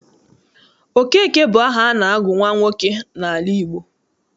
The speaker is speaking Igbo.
Okeke bụ aha a na-agụ nwa nwoke n'ala Igbo.